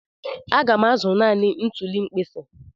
Aga m azụ naanị ntuli mkpisi.